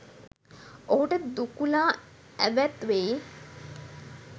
ඔහුට දුකුලා ඇවැත් වෙයි.